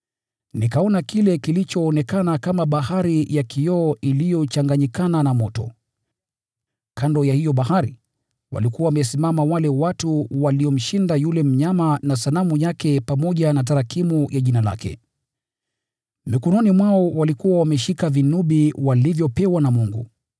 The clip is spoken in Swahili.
Nikaona kile kilichoonekana kama bahari ya kioo iliyochanganyikana na moto. Kando ya hiyo bahari, walikuwa wamesimama wale watu waliomshinda yule mnyama na sanamu yake pamoja na tarakimu ya jina lake. Mikononi mwao walikuwa wameshika vinubi walivyopewa na Mungu.